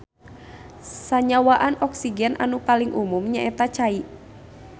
Sanyawaan oksigen anu paling umum nyaeta cai.